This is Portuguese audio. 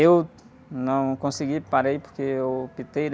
Eu não consegui, parei, porque eu optei, né?